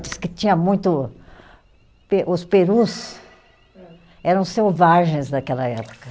Diz que tinha muito, pe, os perus eram selvagens naquela época.